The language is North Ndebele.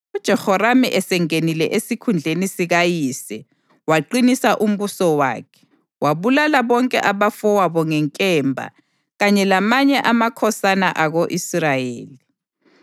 UJehoramu esengenile esikhundleni sikayise waqinisa umbuso wakhe, wabulala bonke abafowabo ngenkemba kanye lamanye amakhosana ako-Israyeli.